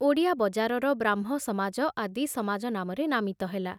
ଓଡ଼ିଆ ବଜାରର ବ୍ରାହ୍ମ ସମାଜ ଆଦି ସମାଜ ନାମରେ ନାମିତ ହେଲା।